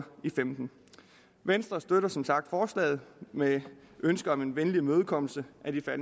femten venstre støtter som sagt forslaget med ønske om en venlig imødekommelse